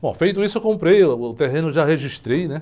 Bom, feito isso, eu comprei uh, o terreno, já registrei, né?